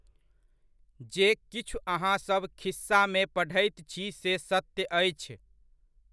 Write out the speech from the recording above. जे किछु अहाँसभ खिस्सामे पढ़ैत छी से सत्य अछि।